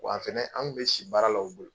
Wa fɛnɛ anw kun bɛ si baarala u bolo